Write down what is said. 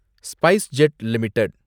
SpiceJet limited